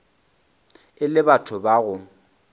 e le batho ba go